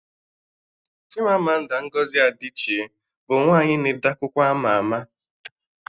Chimamanda Ngozi Adichie bụ nwaanyị na-ede akwụkwọ ama ama